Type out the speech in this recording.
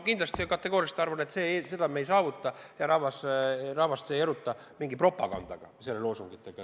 Ma kategooriliselt arvan, et seda me loosungitega ei saavuta, rahvast ei eruta mingi propaganda.